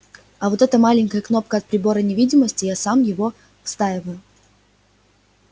вот эта маленькая кнопка от прибора невидимости я сам его вставил